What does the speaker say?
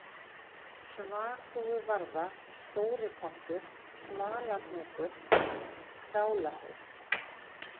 Svalþúfuvarða, Stóripottur, Smalahnúkur, Skálahaus